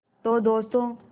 तो दोस्तों